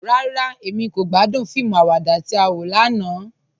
Rárá, Emí kò gbàdún fíìmù àwàdà tí á wọ lànà.